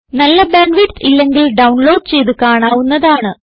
നല്ല bandwidth ഇല്ലെങ്കിൽ download ചെയ്ത് കാണാവുന്നതാണ്